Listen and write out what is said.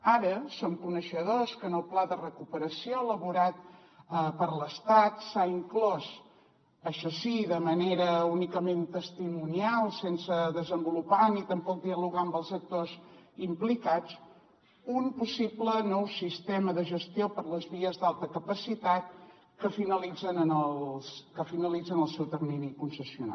ara som coneixedors que en el pla de recuperació elaborat per l’estat s’ha inclòs això sí de manera únicament testimonial sense desenvolupar ni tampoc dialogar amb els actors implicats un possible nou sistema de gestió per a les vies d’alta capacitat que finalitzen el seu termini de concessió